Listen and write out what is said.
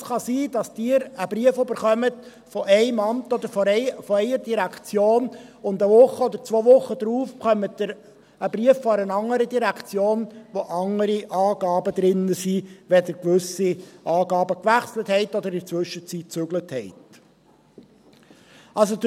Es kann also sein, dass Sie einen Brief von einem Amt oder von einer Direktion erhalten, und eine Woche oder zwei Wochen später erhalten Sie einen Brief einer anderen Direktion, der andere Angaben enthält, wenn Sie gewisse Daten gewechselt haben oder inzwischen umgezogen sind.